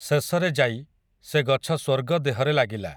ଶେଷରେ ଯାଇ, ସେ ଗଛ ସ୍ୱର୍ଗ ଦେହରେ ଲାଗିଲା ।